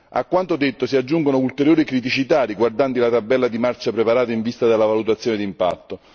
A quanto detto si aggiungono ulteriori criticità riguardanti la tabella di marcia preparata in vista della valutazione d'impatto.